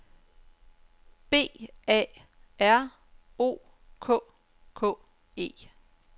B A R O K K E